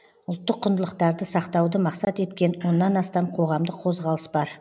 ұлттық құндылықтарды сақтауды мақсат еткен оннан астам қоғамдық қозғалыс бар